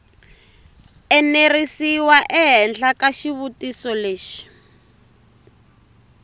enerisiwa ehenhla ka xitiviso lexi